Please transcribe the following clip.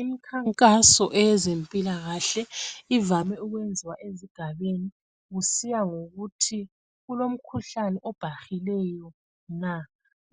Imikhankaso eyezempilakahle ivame ukweziwa ezigabeni kusiya ngokuthi kulomkhuhlane obhahileyo na.